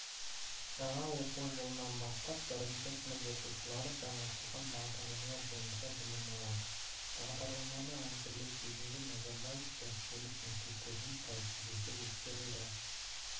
жаңа оқу жылынан бастап бірінші сынып оқушылары жаңартылған бағдарлама бойынша білім алады бағдарламаны әзірлеу кезінде назарбаев зияткерлік мектептерінің тәжірибесі ескерілді